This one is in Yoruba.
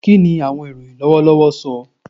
Kini awọn iroyin lọwọlọwọ sọ?